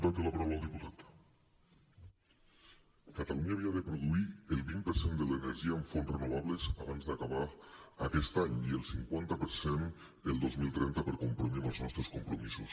catalunya havia de produir el vint per cent de l’energia amb fonts renovables abans d’acabar aquest any i el cinquanta per cent el dos mil trenta per complir amb els nostres compromisos